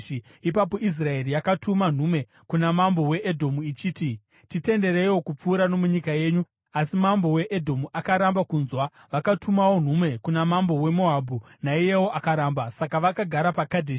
Ipapo Israeri yakatuma nhume kuna mambo weEdhomu, ichiti, ‘Titendereiwo kupfuura nomunyika yenyu,’ asi mambo weEdhomu akaramba kunzwa. Vakatumawo nhume kuna mambo weMoabhu, naiyewo akaramba. Saka vakagara paKadheshi.